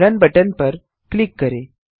run button पर click करें